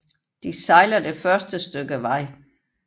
De sejler det første stykke vej